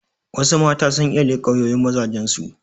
Wassu mata sun iya leƙa wayoyin mazajen su